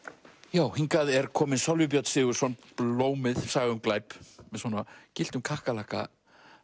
já hingað er kominn Sölvi Björn Sigurðsson blómið saga um glæp með gylltum kakkalakka